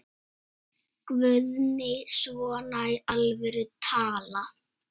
Guðný: Svona í alvöru talað?